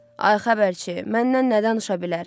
Ay xəbərçi, məndən nə danışa bilər?